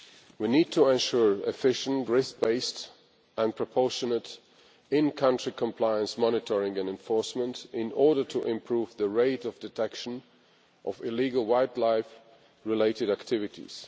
We need to ensure efficient risk based and proportionate in country compliance monitoring and enforcement in order to improve the rate of detection of illegal wildlife related activities.